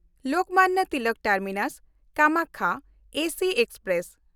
Lokmanya Tilak ᱴᱟᱨᱢᱤᱱᱟᱥ–ᱠᱟᱢᱟᱠᱠᱷᱟ AC express